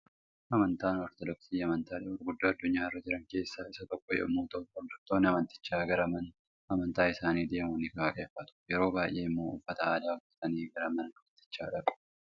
Amantaan Ortodoksii amantaalee gurguddoo addunyaa irra jiran keessaa isa tokko yommuu ta'u, hordoftoonni amantichaa gara mana amantaa isaanii deemuu ni waaqeffatu. Yeroo baay'ee immoo uffata adii uffatanii gara mana amantichaa dhaqu.